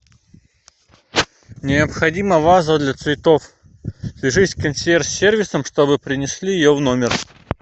необходима ваза для цветов свяжись с консьерж сервисом чтобы принесли ее в номер